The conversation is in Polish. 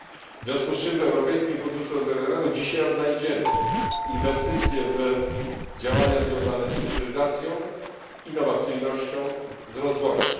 W związku z czym w Europejskim Funduszu Rozwoju Regionalnego dzisiaj odnajdziemy inwestycje w działania związane z cyfryzacją, innowacyjnością, rozwojem.